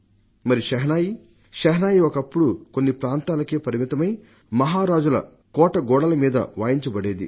మరి షెహనాయి ఒకప్పుడు కొన్ని ప్రాంతాలకే పరిమితమై మహారాజుల కోట గోడల మీద వాయింపబడేది